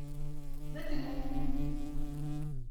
Metit ng'ung'.